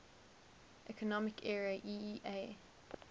economic area eea